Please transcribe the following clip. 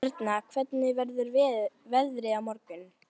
Erna, hvernig verður veðrið á morgun?